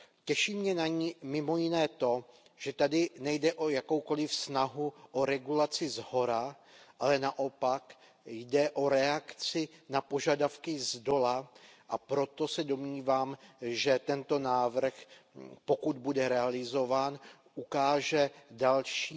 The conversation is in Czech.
Těší mě na ní mimo jiné to, že tady nejde o jakoukoliv snahu o regulaci shora, ale naopak, jde o reakci na požadavky zdola, a proto se domnívám, že tento návrh, pokud bude realizován, ukáže dalším